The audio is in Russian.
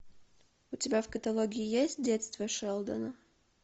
у тебя в каталоге есть детство шелдона